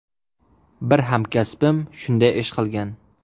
Bir hamkasbim shunday ish qilgan.